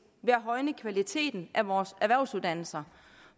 ved at højne kvaliteten af vores erhvervsuddannelser